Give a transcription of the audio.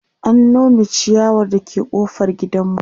an Nome chiyawar da ke ƙofar gidanmu